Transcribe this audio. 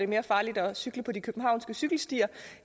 mere farligt at cykle på de københavnske cykelstier